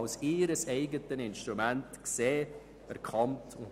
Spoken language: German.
Die SAK möchte dies kritisch festhalten.